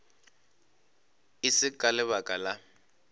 e se ka lebaka la